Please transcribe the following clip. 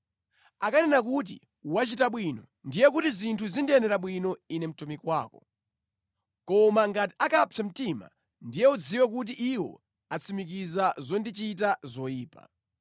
Akanena kuti, ‘Wachita bwino,’ ndiye kuti zinthu zindiyendera bwino ine mtumiki wako. Koma ngati akapsa mtima, ndiye udziwe kuti iwo atsimikiza zondichita zoyipa.